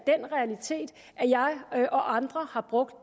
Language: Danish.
jeg og andre har brugt